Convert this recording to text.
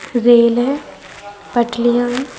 Rail है पटरीयाँ है ।